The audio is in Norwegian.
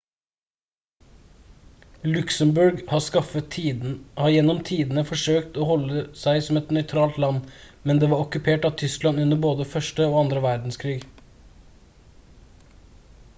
luxembourg har gjennom tidene forsøkt å holde seg som et nøytralt land men det var okkupert av tyskland under både 1. og 2. verdenskrig